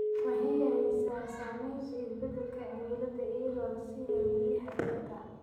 Waxay yaraysaa saamaynta isbeddelka cimilada iyadoo la siinayo biyaha dhirta.